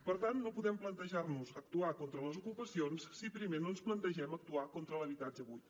per tant no podem plantejar nos actuar contra les ocupacions si primer no ens plantegem actuar contra l’habitatge buit